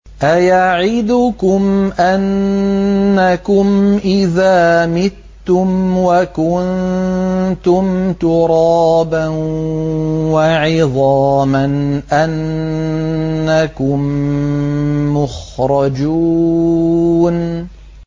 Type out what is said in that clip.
أَيَعِدُكُمْ أَنَّكُمْ إِذَا مِتُّمْ وَكُنتُمْ تُرَابًا وَعِظَامًا أَنَّكُم مُّخْرَجُونَ